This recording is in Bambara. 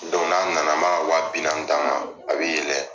n'a na na ma a ka wa bi naani d'a ma a bɛ yɛlɛ.